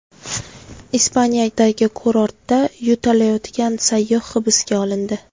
Ispaniyadagi kurortda yo‘talayotgan sayyoh hibsga olindi.